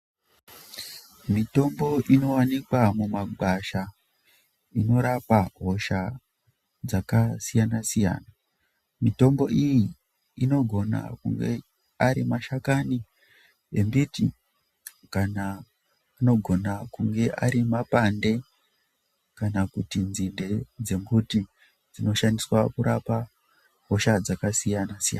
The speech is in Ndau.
Mithombo inowanikwa mumagwasha inorapa hosha dzakasiyanasiyana. Mithombo iyi inogona kunge ari mashakani embiti kana anogona kunge ari mapande kana kuti nzinde dzemuti ndinoshandiswa kurapa hosha dzakasiya nasiyana.